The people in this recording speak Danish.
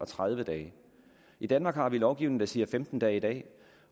tredive dage i danmark har vi en lovgivning der siger femten dage i dag